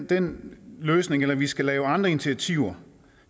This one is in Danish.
den løsning eller vi skal lave andre initiativer